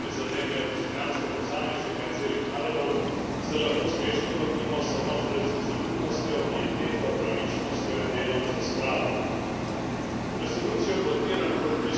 Posledic genocidnih dejanj, ki težko prizadenejo dostojanstvo posameznika in celih narodov, se lahko uspešno lotimo samo z resnicoljubnostjo, pieteto, pravičnostjo in delom za spravo.